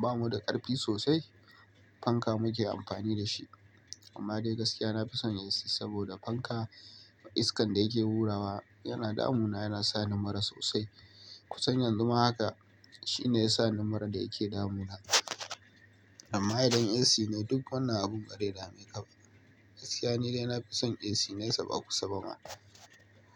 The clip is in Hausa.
ba mu da ƙarfi sosai fanka muke amfani da shi. Amma dai gaskiya na fison AC saboda fanka iskan da yake wurawa yana damuna yana sa numara sosai. Ku san yanzu ma haka shine ya sa ni mura da yake damuna. Amma idan AC ne duk wannan abun bare dame ka ba. Gaskiya ne dai na fi son AC nesa ba kusan ba ma.